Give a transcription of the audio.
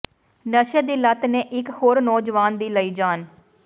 ਨਸ਼ੇ ਦੀ ਲੱਤ ਨੇ ਇੱਕ ਹੋਰ ਨੌਜਵਾਨ ਦੀ ਲਈ ਜਾਨ